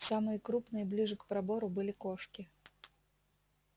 самые крупные ближе к пробору были кошки